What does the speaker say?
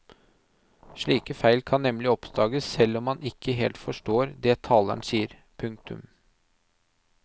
Slike feil kan nemlig oppdages selv om man ikke helt forstår det taleren sier. punktum